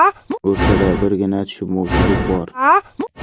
O‘rtada birgina tushunmovchilik bor.